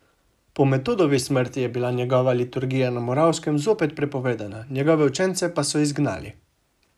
Po Metodovi smrti je bila njegova liturgija na Moravskem zopet prepovedana, njegove učence pa so izgnali.